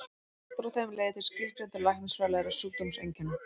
Skortur á þeim leiðir til skilgreindra læknisfræðilegra sjúkdómseinkenna.